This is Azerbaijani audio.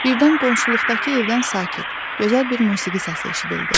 Birdən qonşuluqdakı evdən sakit, gözəl bir musiqi səsi eşidildi.